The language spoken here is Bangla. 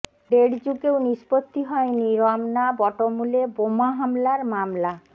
দেড় যুগেও নিষ্পত্তি হয়নি রমনা বটমূলে বোমা হামলার মামলা